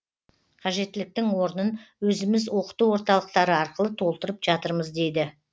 қажеттіліктің орнын өзіміз оқыту орталықтары арқылы толтырып жатырмыз дейді